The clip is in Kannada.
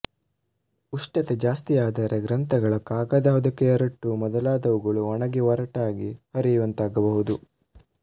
ಉಷ್ಟತೆ ಜಾಸ್ತಿಯಾದರೆ ಗ್ರಂಥಗಳ ಕಾಗದ ಹೊದಿಕೆಯ ರಟ್ಟು ಮೊದಲಾದವುಗಳು ಒಣಗಿ ಒರಟಾಗಿ ಹರಿಯುವಂತಾಗಬಹುದು